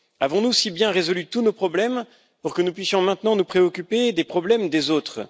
Avons nous si bien résolu tous nos problèmes pour que nous puissions maintenant nous préoccuper de ceux des autres?